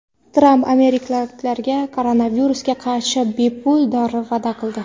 Tramp amerikaliklarga koronavirusga qarshi bepul dori va’da qildi.